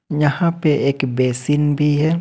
यहां पे एक बेसिन भी है।